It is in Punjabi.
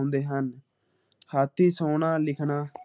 ਲਿਖਣਾ